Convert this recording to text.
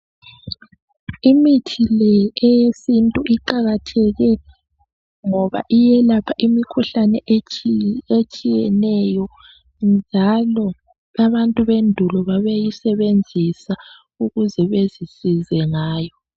Imithi le eyesintu iqakathekile ngoba iyelapha imikhuhlane etshiyeneyo njalo abantu bendulo babeyisebenzisa ukuze bezisize ngayo